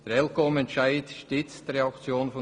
Der ElCom-Entscheid stützt die Reaktion der BKW.